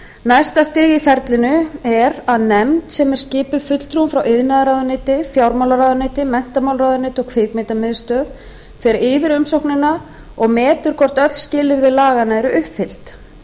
næsta stig í ferlinu er að nefnd sem skipuð er fulltrúum frá iðnaðarráðuneyti fjármálaráðuneyti menntamálaráðuneyti og kvikmyndamiðstöð fer yfir umsóknina og metur hvort öll skilyrði laganna eru uppfyllt